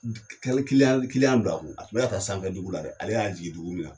Kelen don a kun a tun bɛna taa sanfɛdugu la dɛ! ale jigui dugu min na.